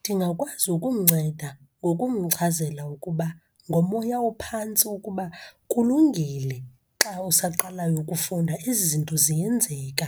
Ndingakwazi ukumnceda ngokumchazele ukuba ngomoya ophantsi ukuba kulungile xa usaqalayo ukufunda, ezi zinto ziyenzeka.